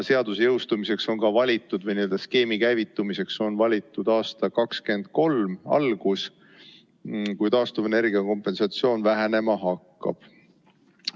Seaduse jõustumiseks ja skeemi käivitumiseks on valitud 2023. aasta algus, kui taastuvenergia kompensatsioon vähenema hakkab.